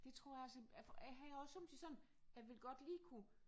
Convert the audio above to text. Det tror jeg altså jeg jeg har også somme tider sådan jeg vil godt lige kunne